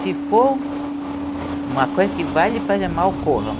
Se for uma coisa que vai lhe fazer mal, corra.